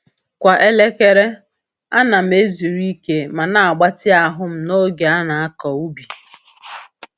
Kwa elekere, a na'm-ezuru ike ma na-agbatị ahụ'm n’oge a na-akọ ubi.